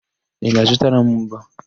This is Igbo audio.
Ị ga-azụtara m mbọ?